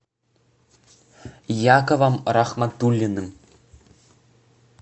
яковом рахматуллиным